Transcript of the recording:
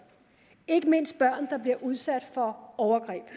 ikke mindst de børn der bliver udsat for overgreb